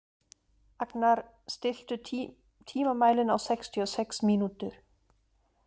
Agnar, stilltu tímamælinn á sextíu og sex mínútur.